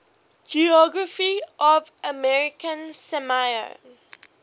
geography of american samoa